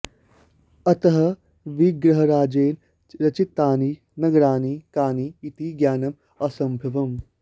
अतः विग्रहराजेन रचितानि नगराणि कानि इति ज्ञानम् असम्भवम्